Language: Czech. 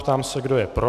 Ptám se, kdo je pro.